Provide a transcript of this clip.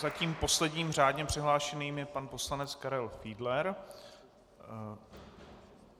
Zatím posledním řádně přihlášeným je pan poslanec Karel Fiedler.